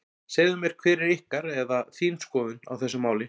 Segðu mér hver er ykkar, eða þín skoðun á þessu máli?